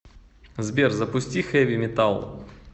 сбер запусти хэви метал